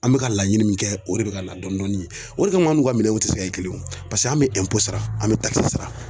An bɛ ka laɲini min kɛ o de bɛ ka na dɔn dɔɔni. O de kam'an n'u ka minɛnw ti se ka kɛ kelen ye o paseke an' bɛ sara an be sara.